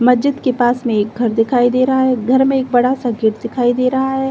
मस्जिद के पास मे एक घर दिखाई दे रहा है। घर मे एक बड़ा सा गेट दिखाई दे रहा है।